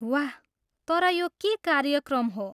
वाह! तर यो के कार्यक्रम हो?